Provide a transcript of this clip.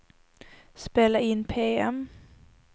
spela in PM